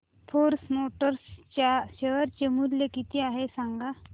force Motors च्या share चे मूल्य किती आहे सांगा